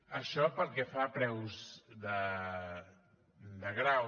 això pel que fa a preus de grau